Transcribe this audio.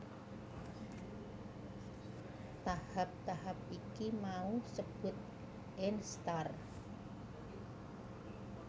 Tahap tahap iki mau sebut instar